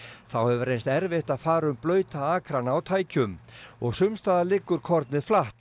þá hefur reynst erfitt að fara um blauta akrana á tækjum og liggur kornið flatt